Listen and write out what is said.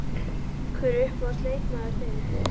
Hver er uppáhalds leikmaður þinn?